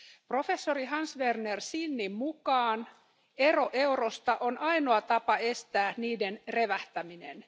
Professori Hans Werner Sinnin mukaan ero eurosta on ainoa tapa estää niiden revähtäminen.